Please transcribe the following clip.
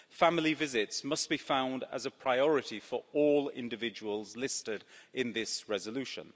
Family visits must be found as a priority for all individuals listed in this resolution.